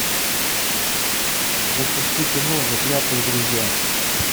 запусти кино заклятые друзья